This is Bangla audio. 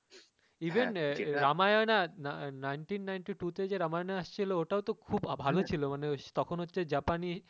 Even রামায়না nineteen ninety-two তে রামায়না আসছিলো ওটাও তো খুব ভালো ছিল মানে তখন হচ্ছে জাপানি